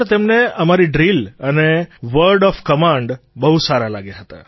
તેમને અમારી ડ્રિલ અને વર્ડ ઑફ કમાન્ડ બહુ સારાં લાગ્યાં હતાં